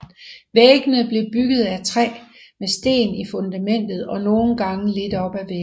Væggene blev bygget af træ med sten i fundamentet og nogle gange lidt op ad væggene